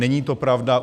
Není to pravda.